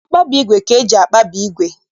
Mkpabi ígwè ka eji akpabi ígwè